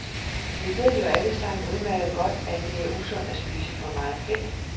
Vi ved jo alle sammen udmærket godt, at det er usundt at spise for meget fedt.